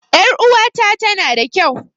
Ƴar uwata tana da kau